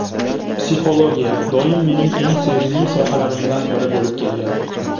Psixologiya doim mening eng sevimli sohalarimdan biri bo‘lib kelgan.